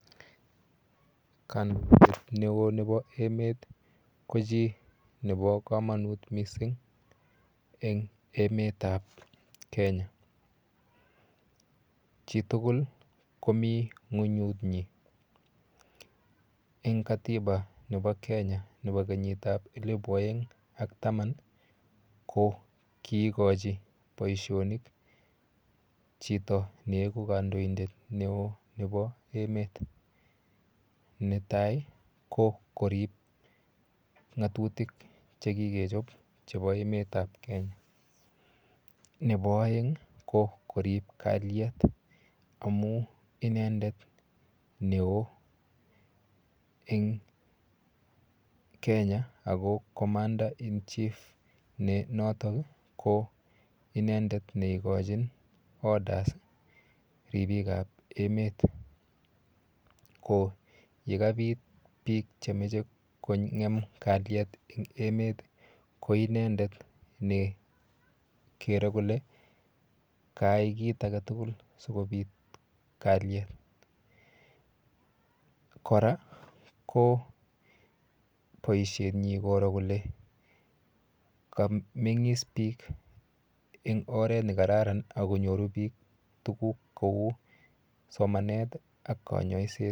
Kandoindet neo nepo emet ko chi nepo komonut mising eng emetap Kenya, Chitugul komi ng'unyunyi. Eng katiba nepo kenyitap elepu oeng ak taman ko kiikochi boishonik chito neeku kandoindet neo nepo emet. Netai ko korip ng'atutik chekikechop chepo emetap Kenya. Nepo oeng ko korip kalyet amu inendet neo eng Kenya ako commander in chief ne noto ki inendet neikochin orders ripikap emet ko yekapit biik chemeche kong'em kalyet eng emet ko inendet nekere kole kaai kit aketugul sikobit kalyet. Kora ko boishenyi koro kole kameng'is biik eng oret nekararan akonyoru biik tuguk kou somanet ak kanyoiset.